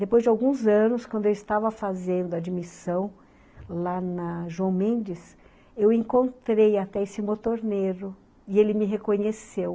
Depois de alguns anos, quando eu estava fazendo admissão lá na João Mendes, eu encontrei até esse motorneiro, e ele me reconheceu.